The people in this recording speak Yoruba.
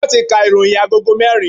Wọn ti ka ìròyìn agogo merin